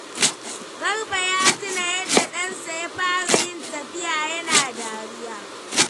Garba ya tuna yadda ɗansa ya fara yin tafiya yana dariya.